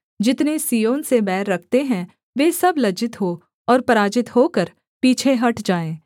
जितने सिय्योन से बैर रखते हैं वे सब लज्जित हो और पराजित होकर पीछे हट जाए